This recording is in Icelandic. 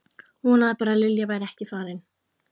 Vonaði bara að Lilja væri ekki farin.